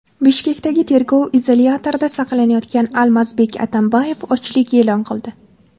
Bishkekdagi tergov izolyatorida saqlanayotgan Almazbek Atambayev ochlik e’lon qildi.